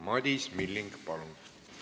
Madis Milling, palun!